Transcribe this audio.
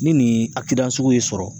Ni nin sugu y'i sɔrɔ